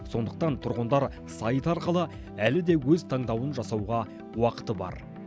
сондықтан тұрғындар сайт арқылы әлі де өз таңдауын жасауға уақыты бар